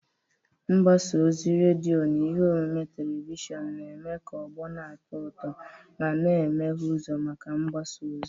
Mgbasa ozi redio na ihe omume telivishọn na-eme ka ọgbọ na-atọ ụtọ ma, na-emeghe ụzọ maka mgbasa ozi.